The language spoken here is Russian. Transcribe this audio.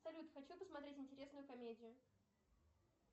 салют хочу посмотреть интересную комедию